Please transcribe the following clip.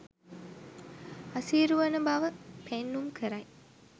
අසීරුවන බව පෙන්නුම් කරයි